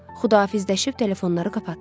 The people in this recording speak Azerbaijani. Xudahafizləşib telefonları qapatdıq.